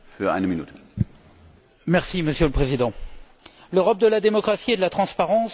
Monsieur le Président, l'Europe de la démocratie et de la transparence vient de subir un sérieux revers.